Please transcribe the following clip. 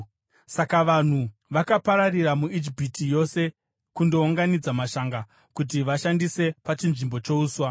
Saka vanhu vakapararira muIjipiti yose kundounganidza mashanga kuti vaashandise pachinzvimbo chouswa.